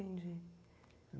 Entendi.